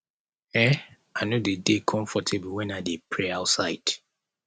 um i no dey dey comfortable wen i dey pray outside